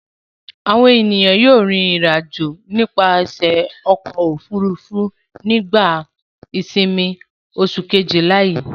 Àwọn ènìyàn yóò rìnrìn-àjò nípasẹ̀ ọkọ̀-òfurufú nígbà ìsìnmi oṣù kejìlá yii.